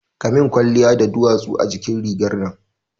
Kamin kwalliya da duwatsu a jikin rigar nan